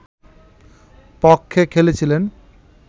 পক্ষে খেলেছিলেন